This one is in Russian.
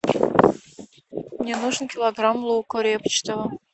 мне нужен килограмм лука репчатого